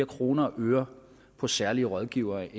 kroner og øre på særlige rådgivere